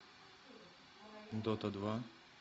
дота два